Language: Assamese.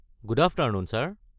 Good afternoon sir!